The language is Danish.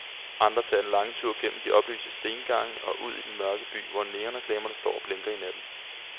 Andre tager den lange tur gennem de oplyste stengange og ud i den mørke by, hvor neonreklamerne står og blinker i natten.